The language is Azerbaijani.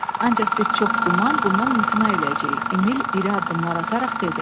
“Ancaq biz çox güman bundan imtina eləyəcəyik,” Emil iri addımlar ataraq dedi.